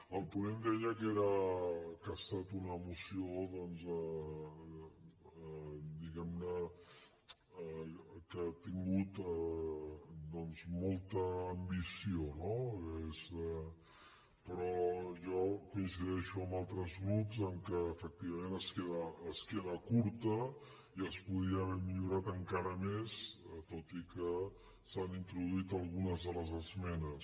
el ponent deia que ha estat una moció doncs diguem ne que ha tingut molta ambició però jo coincideixo amb altres grups en el fet que efectivament es queda curta i es podria haver millorat encara més tot i que s’hi han introduït algunes de les esmenes